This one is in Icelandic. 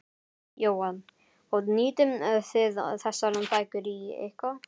Jóhann: Og nýtið þið þessar bækur í eitthvað?